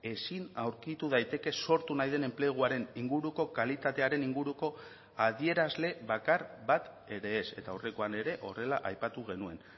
ezin aurkitu daiteke sortu nahi den enpleguaren inguruko kalitatearen inguruko adierazle bakar bat ere ez eta aurrekoan ere horrela aipatu genuen